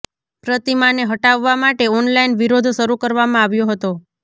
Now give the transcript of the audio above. પ્રતિમાને હટાવવા માટે ઓનલાઇન વિરોધ શરૂ કરવામાં આવ્યો હતો